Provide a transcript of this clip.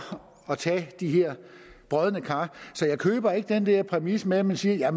at tage de her brodne kar så jeg køber ikke den der præmis med at man siger